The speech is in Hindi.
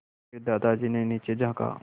फिर दादाजी ने नीचे झाँका